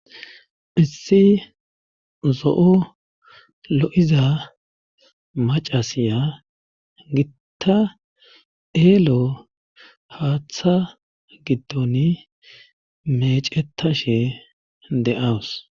hissi zo7o lo7iza macasiya gitta kelo haaththa giddoni mecetashe de7awus